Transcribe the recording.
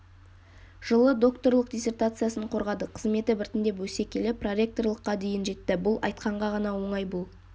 жылы докторлық диссертациясын қорғады қызметі біртіндеп өсе келе проректорлыққа дейін жетті бұл айтқанға ғана оңай бұл